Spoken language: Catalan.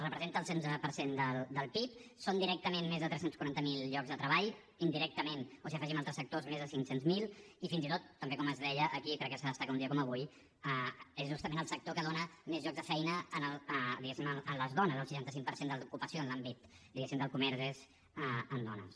representa el setze per cent del pib són directament més tres cents i quaranta miler llocs de treball indirectament o si hi afegim altres sectors més de cinc cents miler i fins i tot també com es deia aquí crec que s’ha de destacar un dia com avui és justament el sector que dona més llocs de feina diguéssim a les dones el seixanta cinc per cent de l’ocupació en l’àmbit diguéssim del comerç és en dones